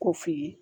Ko f'i ye